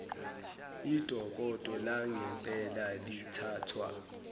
idokodo langempela lithathwa